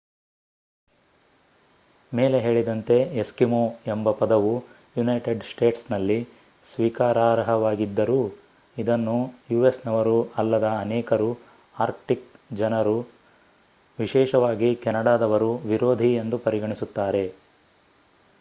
ಮೇಲೆ ಹೇಳಿದಂತೆ ಎಸ್ಕಿಮೋ ಎಂಬ ಪದವು ಯುನೈಟೆಡ್ ಸ್ಟೇಟ್ಸ್ನಲ್ಲಿ ಸ್ವೀಕಾರಾರ್ಹವಾಗಿದ್ದರೂ ಇದನ್ನು ಯುಎಸ್‌ನವರು ಅಲ್ಲದ ಅನೇಕರು ಆರ್ಕ್ಟಿಕ್ ಜನರು ವಿಶೇಷವಾಗಿ ಕೆನಡಾದವರು ವಿರೋಧಿ ಎಂದು ಪರಿಗಣಿಸುತ್ತಾರೆ